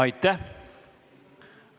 Aitäh!